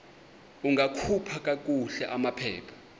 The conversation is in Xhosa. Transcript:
ungakhupha kakuhle amaphepha